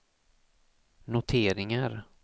noteringar